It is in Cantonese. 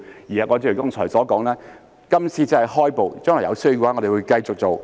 正如我剛才所說，今次只是開步，將來有需要的話，我們會繼續去做。